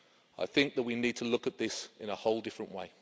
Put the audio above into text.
I think that we need to look at this in a whole different way.